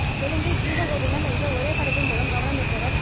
தெலுங்கில் கீத கோவிந்தம் என்ற ஒரே படத்தின் மூலம் கவனம் ஈர்த்தவர்